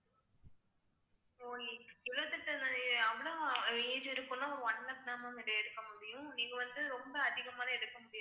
age இருக்குன்னா one lakh தான் ma'am எடுக்க முடியும் நீங்க வந்து ரொம்ப அதிகமா எல்லாம் எடுக்க முடியாது